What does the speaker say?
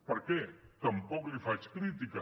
per què tampoc li’n faig crítica